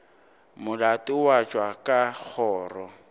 molato wa tšwa ka kgoro